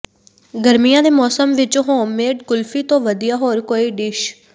ਗਰਮੀਆਂ ਦੇ ਮੌਸਮ ਵਿਚ ਹੋਮਮੇਡ ਕੁਲਫੀ ਤੋਂ ਵਧੀਆ ਹੋਰ ਕੋਈ ਡਿਸ਼